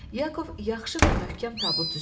Yakov yaxşı və möhkəm tabut düzəldirdi.